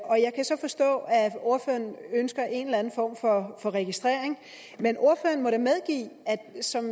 jeg kan så forstå at ordføreren ønsker en eller anden form for registrering men ordføreren må da medgive at der som